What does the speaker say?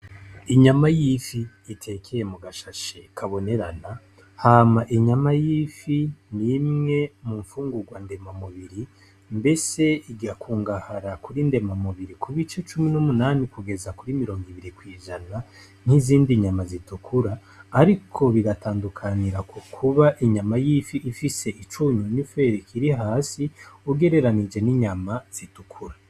Inyama y'ifi itekeye mu gashashe kabonerana hama inyama yifi n'imwe mu mfungurwa ndema mubiri mbese igakungahara kuri ndema mubiri kuba ico cumi n'umunami kugeza kuri mirongo ibiri kwijana nk'izindi nyama zitukura, ariko bigatandukanira ku kuba ba inyama y'ifi ifise icunyu n'i felik iri hasi ugereranije n'inyama zidukura.